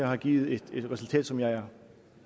har givet et resultat som jeg er